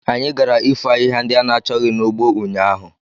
Anyị gara ifo ahịhịa ndị a na-achọghị n'ugbo ụnyaahụ.